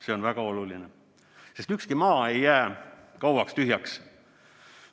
See on väga oluline, sest ükski maa ei jää kauaks tühjaks.